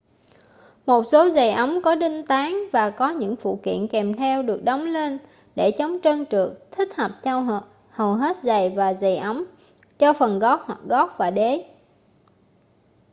một số giày ống có đinh tán và có những phụ kiện kèm theo được đóng lên để chống trơn trượt thích hợp cho hầu hết giày và giày ống cho phần gót hoặc gót và đế